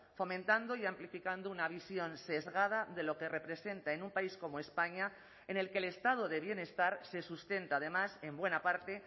fomentando y amplificando una visión sesgada de lo que representa en un país como españa en el que el estado de bienestar se sustenta además en buena parte